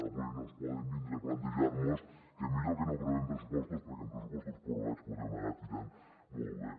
avui no ens poden vindre a plantejar que millor que no aprovem pressupostos perquè amb pressupostos prorrogats podem anar tirant molt bé